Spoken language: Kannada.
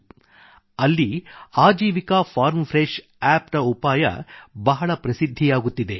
ಅಲ್ಲಿ Aajeevika farm fresh Aajeevika farm fresh app appನ ಉಪಾಯ ಬಹಳ ಪ್ರಸಿದ್ಧಿಯಾಗುತ್ತಿದೆ